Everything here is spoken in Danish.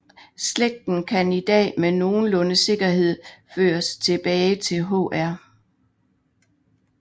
Slægten kan i dag med nogenlunde sikkerhed føres tilbage til Hr